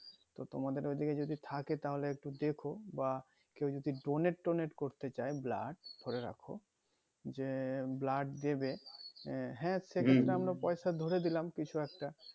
তো তোমাদের ওই দিকে যদি থাকে তাহোলে একটু দেখো বা কেউ যদি donate টোনেট করতে চাই blood করে রাখো যে blood দেবে আহ হ্যাঁ পয়সা ধরে দিলাম কিছু একটা